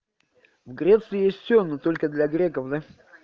в греции есть все но только для греков да